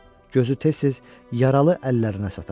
Gözü tez-tez yaralı əllərinə sataşırdı.